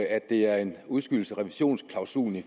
at det er en udskydelse af revisionsklausulen i